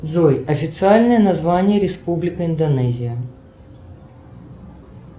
джой официальное название республика индонезия